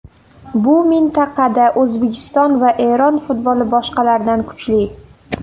Bu mintaqada O‘zbekiston va Eron futboli boshqalardan kuchli.